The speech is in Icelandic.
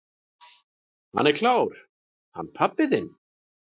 """Hann er klár, hann pabbi þinn."""